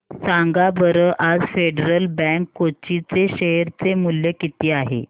सांगा बरं आज फेडरल बँक कोची चे शेअर चे मूल्य किती आहे